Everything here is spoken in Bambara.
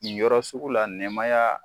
Ni yɔrɔ sugu la nɛmaya